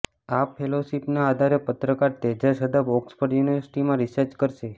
આ ફેલોશિપના આધારે પત્રકાર તેજસ હદપ ઓક્સફર્ડ યૂનિવર્સિટીમાં રીસર્ચ કરશે